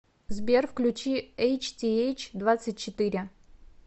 сбер включи эйч ти эйч двадцать четыре